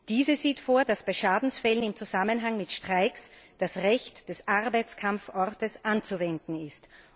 Diese sieht vor, dass bei Schadensfällen im Zusammenhang mit Streiks, das Recht des Arbeitskampfortes anzuwenden ist.